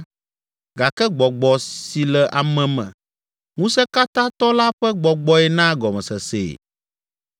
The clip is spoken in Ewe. Gake gbɔgbɔ si le ame me, Ŋusẽkatãtɔ la ƒe gbɔgbɔe naa gɔmesesee.